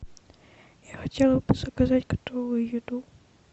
я хотела бы заказать готовую еду